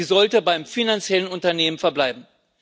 Sie sollte beim finanziellen Unternehmen verbleiben.